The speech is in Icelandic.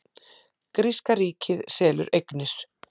Gríska ríkið selur eignir